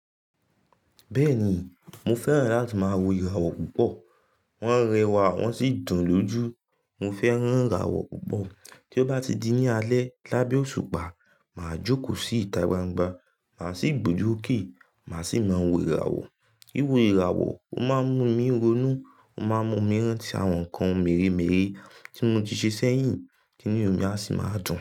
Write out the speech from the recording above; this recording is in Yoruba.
Bẹ́ẹ̀ni, mo fẹ́ràn láti máa wo ìràwọ̀ púpọ̀. Wọ́n ń rẹwà, wọ́n sì dùn lójú. Mo fẹ́ràn ìràwọ̀ púpọ̀. Tí ó bá ti di ní alẹ́ lábẹ́ òṣùpá, màá jókòó sí ìta gbangba, màá sì gbójú okè, màá sì máa wo ìràwọ̀. Wiwo ìràwọ̀, ó máa ń mú mi ronú, ó máa ń mú mi rántí àwọn nǹkan mèremère tí mo ti ṣe sẹ́yìn tinu mi a sì máa dùn.